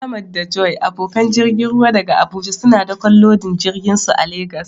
Ahmad da Joy, abokan jirgin ruwa daga Abuja, suna dakon lodin jirginsu a Legas.